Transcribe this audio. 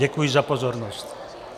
Děkuji za pozornost.